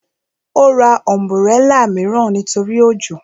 Ó ra ọ̀nbúrẹlà mìíràn nítorí òjò